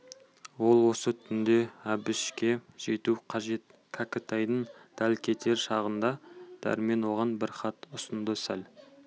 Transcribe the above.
ол осы түнде әбішке жету қажет кәкітайдың дәл кетер шағында дәрмен оған бір хат ұсынды сәл